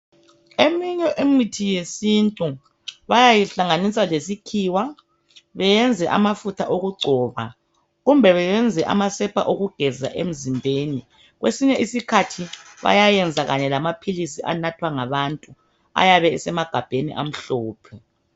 Eminye imithi yesintu bayayihlanganisa lesikhiwa beyenze amafutha okugcoba kumbe beyenze amasepa okugeza emzimbeni .Kwesinye isikhathi bayayenza kanye lamaphilisi anathwa ngabantu ayabe esemagabheni amhlophe .